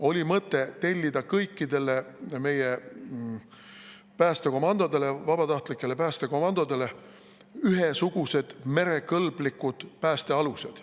Oli mõte tellida kõikidele meie vabatahtlikele päästekomandodele ühesugused merekõlblikud päästealused.